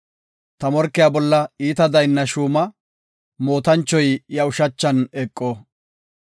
Ta morkiya bolla iita daynna shuuma; mootanchoy iya ushachan eqo.